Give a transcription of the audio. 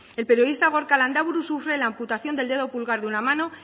el periodista gorka landaburu sufre la amputación del dedo pulgar de una mano